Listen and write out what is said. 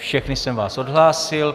Všechny jsem vás odhlásil.